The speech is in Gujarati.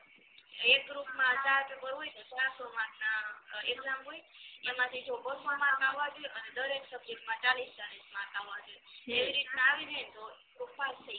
એક group મા chargeable હોય ને ચારસો marks ના exam હોય એમાંથી જો બસો marks આવા જોઈએ અને દરેક subject માં ચાલીસ ચાલીસ marks આવવા જોઈએ એવી રીતના આવી જાયને તો તું પાસ થઈ ગઈ